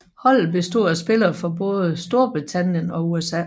Holdet bestod af spillere fra både Storbritannien og USA